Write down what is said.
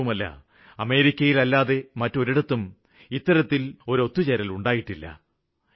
മാത്രമല്ല അമേരിക്കയിലല്ലാതെ മറ്റൊരിടത്തും ഇത്തരത്തില് ഒത്തു ചേരലുണ്ടായിട്ടില്ല